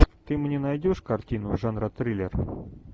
ты мне найдешь картину жанра триллер